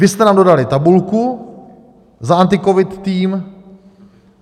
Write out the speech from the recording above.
Vy jste nám dodali tabulku za AntiCovid tým.